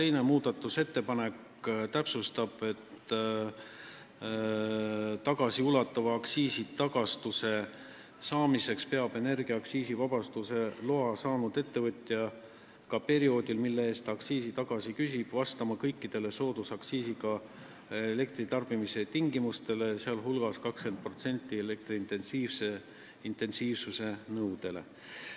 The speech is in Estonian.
Teine muudatusettepanek täpsustab, et tagasiulatuva aktsiisitagastuse saamiseks peab energia aktsiisivabastuse loa saanud ettevõtja ka perioodil, mille eest ta aktsiisi tagasi küsib, vastama kõikidele soodusaktsiisiga elektri tarbimise tingimustele, sh 20% elektrointensiivsuse nõudele.